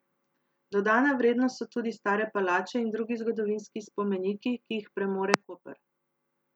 Dodana vrednost so tudi stare palače in drugi zgodovinski spomeniki, ki jih premore Koper.